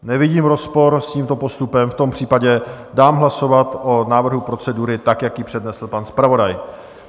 Nevidím rozpor s tímto postupem, v tom případě dám hlasovat o návrhu procedury, tak jak ji přednesl pan zpravodaj.